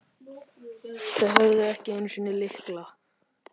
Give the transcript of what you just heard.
Þau höfðu ekki einu sinni lykla.